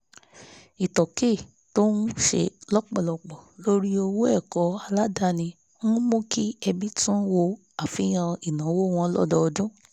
ìtókè tó ń ṣe lọ́pọ̀lọpọ̀ lórí owó ẹ̀kọ́ aládani ń mú kí ẹbí tún wo àfihàn ináwó wọn lódodún